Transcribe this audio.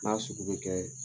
N'a sugu bɛ kɛ